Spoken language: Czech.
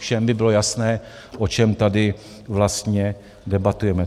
Všem by bylo jasné, o čem tady vlastně debatujeme.